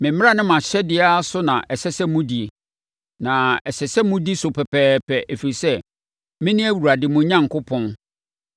Me mmara ne mʼahyɛdeɛ ara so na ɛsɛ sɛ modi; na ɛsɛ sɛ modi so pɛpɛɛpɛ, ɛfiri sɛ, mene Awurade mo Onyankopɔn.